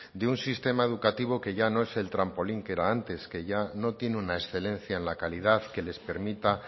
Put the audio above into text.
de un sistema educativo que ya no es el trampolín que era antes que ya no tiene una excelencia en la calidad que les permita